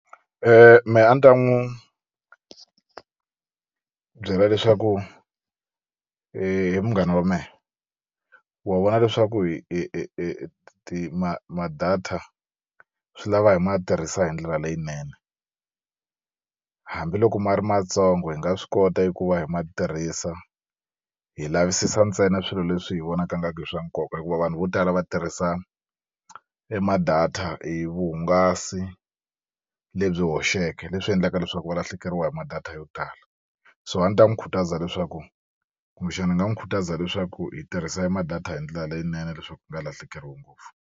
Me a ni ta n'wu byela leswaku munghana wa mehe wa vona leswaku hi hi ti ma ma-data swi lava hi ma tirhisa hi ndlela leyinene hambiloko ma ri matsongo hi nga swi kota eku va hi ma tirhisa hi lavisisa ntsena swilo leswi hi vonaka ingaku i swa nkoka hikuva vanhu vo tala va tirhisa e ma-data hi vuhungasi lebyi hoxeke leswi endlaka leswaku valahlekeriwa hi ma-data yo tala so a ni ta n'wu khutaza leswaku kumbexani ni nga n'wu khutaza leswaku hi tirhisa hi e ma-data hi ndlela leyinene leswaku nga lahlekeriwi ngopfu.